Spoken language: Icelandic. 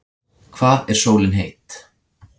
Hvað er sólin heit?